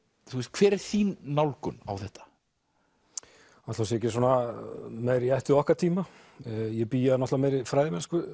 hver er þín nálgun á þetta ætli hún sé ekki svona meira í ætt við okkar tíma ég bý að náttúrulega meiri fræðimennsku